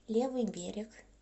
левый берег